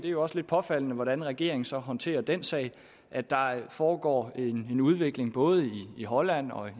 jo også lidt påfaldende hvordan regeringen så håndterer den sag at der foregår en udvikling både i holland og